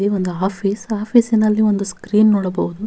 ಈ ಒಂದು ಆಫೀಸ್ ಆಫೀಸಿನಲ್ಲಿ ಒಂದು ಸ್ಕ್ರೀನ್ ನೋಡಬಹುದು.